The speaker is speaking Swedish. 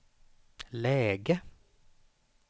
läge